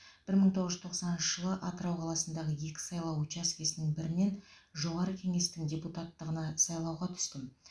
бір мың тоғыз жүз тоқсаныншы жылы атырау қаласындағы екі сайлау учачкесінің бірінен жоғары кеңестің депутаттығына сайлауға түстім